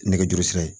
Nɛgɛjuru sira ye